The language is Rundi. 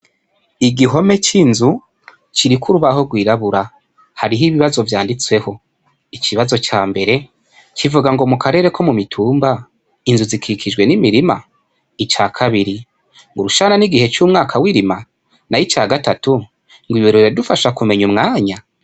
Igihome c'inzu kiriko Urubaho rwirabura, hariho ibibazo vyanditseho ikibazo ca mbere kivuga ngo:mukarere ko mu mitumba hakikijwe n'imirima? ica kabiri :urushana n'igihe c'umwaka w'irima? nay'ica gatatu :ngw'ibi biradufasha kumeny'umwanya?